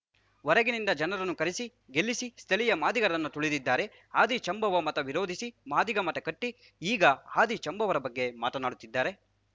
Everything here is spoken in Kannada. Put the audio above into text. ಹೊರಗಿನಿಂದ ಜನರನ್ನು ಕರೆಸಿ ಗೆಲ್ಲಿಸಿ ಸ್ಥಳೀಯ ಮಾದಿಗರನ್ನು ತುಳಿದಿದ್ದಾರೆ ಆದಿಜಾಂಬವ ಮಠ ವಿರೋಧಿಸಿ ಮಾದಿಗ ಮಠ ಕಟ್ಟಿ ಈಗ ಆದಿ ಜಾಂಬವರ ಬಗ್ಗೆ ಮಾತನಾಡುತ್ತಿದ್ದಾರೆ